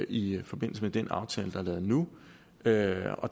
i forbindelse med den aftale der er lavet nu der er